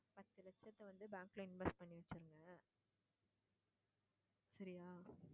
பத்து லட்சத்த வந்து bank ல invest பண்ணி வச்சுருங்க சரியா